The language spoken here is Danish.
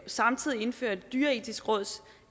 samtidig indfører dyreetisk råds